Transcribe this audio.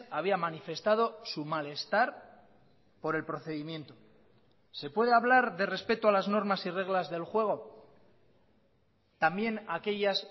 había manifestado su malestar por el procedimiento se puede hablar de respeto a las normas y reglas del juego también aquellas